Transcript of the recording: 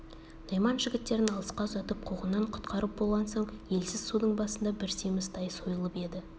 найман жігіттерін алысқа ұзатып қуғыннан құтқарып болған соң елсіз судың басында бір семіз тай сойылып еді